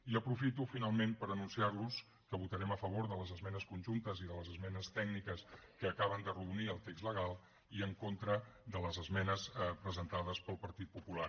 i aprofito finalment per anunciar los que votarem a favor de les esmenes conjuntes i de les esmenes tècniques que acaben d’arrodonir el text legal i en contra de les esmenes presentades pel partit popular